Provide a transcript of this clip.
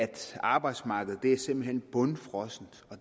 arbejdsmarkedet simpelt hen er bundfrossent og